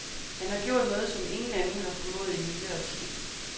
Han har gjort noget, som ingen anden har formået i nyere tid.